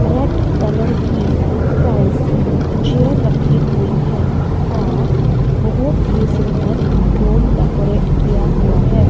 Red colour की fancy chair रखी हुई है और बहोत ही सुंदर रूम डेकोरेट किया हुआ है।